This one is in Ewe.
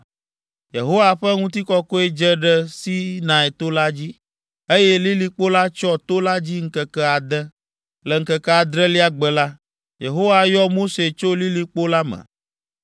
Yehowa ƒe ŋutikɔkɔe dze ɖe Sinai to la dzi, eye lilikpo la tsyɔ to la dzi ŋkeke ade. Le ŋkeke adrelia gbe la, Yehowa yɔ Mose tso lilikpo la me.